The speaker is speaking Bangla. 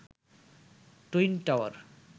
twin tower